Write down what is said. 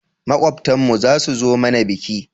Makwabtan mu zasu zo mana biki?